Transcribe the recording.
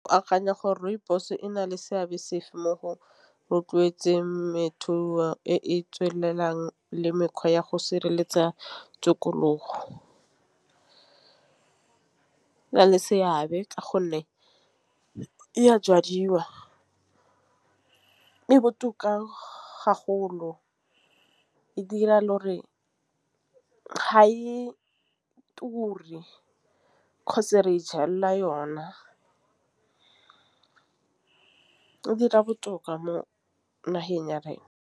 Ke akanya gore rooibos ena le seabe se fe mo go rotloetseng temothuo e e tswelelang le mekgwa ya go sireletsa tikologo. E na le seabe ka gonne e a jadiwa e botoka e dira le gore e ture yona ke dira botoka mo nageng ya rena.